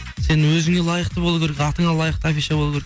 сен өзіңе лайықты болу керек атыңа лайықты афиша болу керек